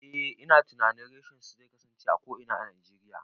Eh ina tunanin reshen su zai kasance a ko'ina a Najeriya